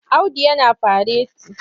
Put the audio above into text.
Audu yana fareti.